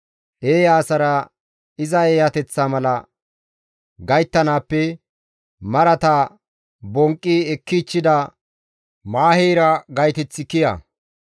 Eeya asara iza eeyateththa mala gayttanaappe marata bonqqi ekkichchida maaheyra gayteththi kiya.